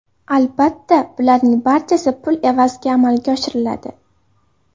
Albatta, bularning barchasi pul evaziga amalga oshiriladi.